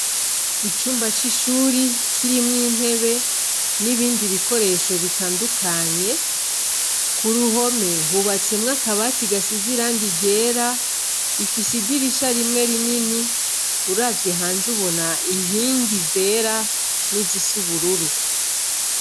Icumba c'ishuri kirimwo intebe n'ibindi bikoresho bitandukanye. Ku ruhome hubatsemwo akabati gasize irangi ryera, ifise idirisha rimwe rinini. Uravye hanze ubona inkingi zera n'izisa ubururu.